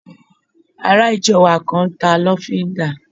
Ará ìjọ wa kan n ta lọ́fíndà